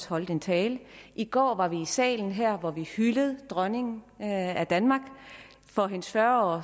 holdt en tale i går var vi også i salen her hvor vi hyldede dronningen af danmark for hendes fyrre år